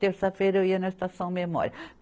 Terça-feira eu ia na Estação Memória.